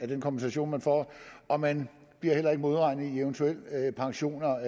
den kompensation man får og man bliver heller ikke modregnet i eventuel pension